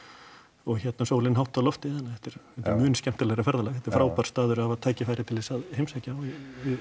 og hérna sólin hátt á lofti þannig að þetta er mun skemmtilegra ferðalag þetta er frábær staður að hafa tækifæri til þess að heimsækja og ég